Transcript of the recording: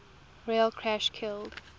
rail crash killed